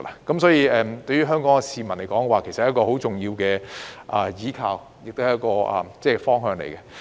因此，對於香港市民而言，大灣區是一個很重要的依靠及方向。